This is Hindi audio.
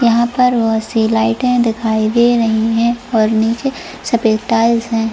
यहां पर बहुत सी लाईटे दिखाई दे रही है और नीचे सफेद टायर्स है।